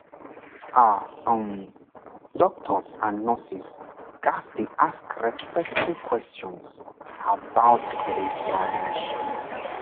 ah um doctors and nurses ghats dey ask respectful questions about spiritual needs